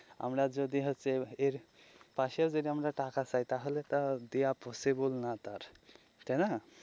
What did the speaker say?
আমরা যদি হচ্ছে এর পাশেও যদি আমরা টাকা চাই তাহলে তো আর দেয়া possible না তার তাই না.